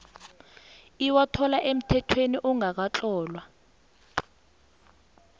iwathola emthethweni ongakatlolwa